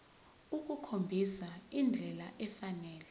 ukukhombisa indlela efanele